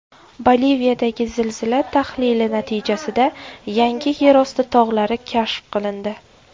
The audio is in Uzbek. Boliviyadagi zilzila tahlili natijasida yangi yerosti tog‘lari kashf qilindi.